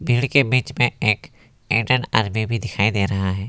के बीच में एक इंडियन आर्मी भी दिखाई दे रहा है।